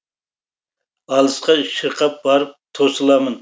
алысқа шырқап барып тосыламын